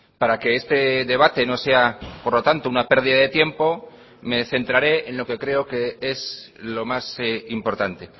para que este debate no sea por lo tanto una pérdida de tiempo me centrare en lo que creo que es lo más importante